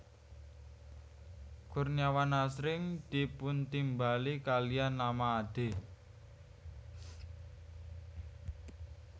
Kurniawan asring dipuntimbali kaliyan nama Ade